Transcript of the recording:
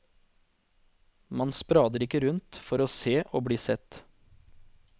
Man sprader ikke rundt for å se og bli sett.